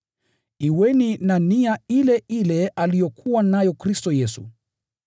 Kuweni na nia ile ile aliyokuwa nayo Kristo Yesu: